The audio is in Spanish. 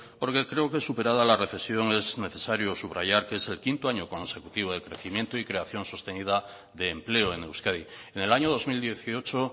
porque creo que superada la recesión es necesario subrayar que es el quinto año consecutivo de crecimiento y creación sostenida de empleo en euskadi en el año dos mil dieciocho